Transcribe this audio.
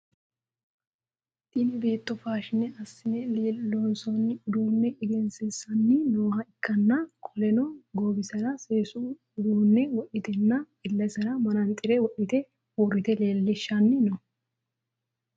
Tinni beetto faashine asine loonsoonni uduune egensiisanni nooha ikanna qoleno goowisera seesu uduune wodhitenna ilesera mananxire wodhite uurite leelishanni no.